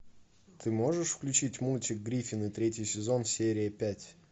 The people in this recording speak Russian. ты можешь включить мультик гриффины третий сезон серия пять